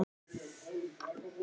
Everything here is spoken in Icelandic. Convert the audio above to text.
Þetta kemur fram á Vísi.